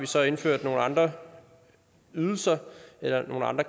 så indført nogle andre ydelser eller